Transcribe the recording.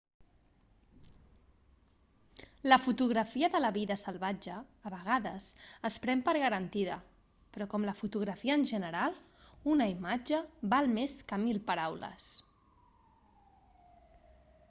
la fotografia de la vida salvatge a vegades es pren per garantida però com la fotografia en general una imatge val més que mil paraules